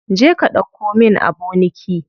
Je ka ɗauko min aboniki.